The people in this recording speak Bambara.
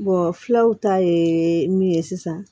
filaw ta ye min ye sisan